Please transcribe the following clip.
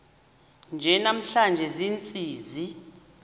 nje namhla ziintsizi